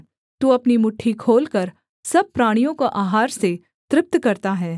तू अपनी मुट्ठी खोलकर सब प्राणियों को आहार से तृप्त करता है